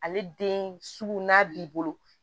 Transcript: Ale den sugu n'a b'i bolo